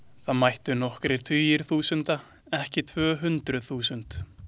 Það mættu nokkrir tugir þúsunda, ekki tvö hundruð þúsund.